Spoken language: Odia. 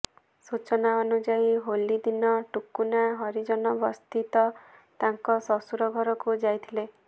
ସୂଚନା ଅନୁଯାୟୀ ହୋଲି ଦିନ ଟୁକୁନା ହରିଜନ ବସ୍ତିସ୍ଥିତ ତାଙ୍କ ଶ୍ୱଶୁର ଘରକୁ ଯାଇଥିଲେ